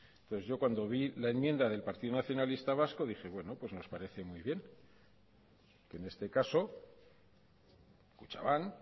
entonces yo cuando vi la enmienda del partido nacionalista vasco dije bueno pues nos parece muy bien en este caso kutxabank